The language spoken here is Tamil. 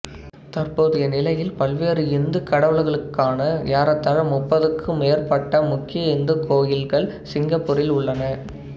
தற்போதைய நிலையில் பல்வேறு இந்து கடவுள்களுக்கான ஏறத்தாழ முப்பதுக்கு மேற்பட்ட முக்கிய இந்து கோயில்கள் சிங்கப்பூரில் உள்ளன